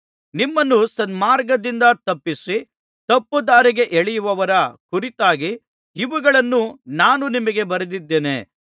ನಿಮ್ಮನ್ನು ಸನ್ಮಾರ್ಗದಿಂದ ತಪ್ಪಿಸಿ ತಪ್ಪುದಾರಿಗೆ ಎಳೆಯುವವರ ಕುರಿತಾಗಿ ಇವುಗಳನ್ನು ನಾನು ನಿಮಗೆ ಬರೆದಿದ್ದೇನೆ